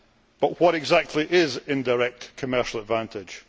But what exactly is indirect commercial advantage'.